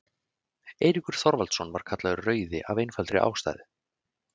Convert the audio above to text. eiríkur þorvaldsson var kallaður rauði af einfaldri ástæðu